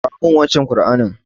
Kawo min wancen Ƙur'anin.